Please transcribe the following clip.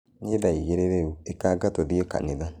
Nĩ thaa igĩrĩ rĩu ĩkanga tũthiĩ kanitha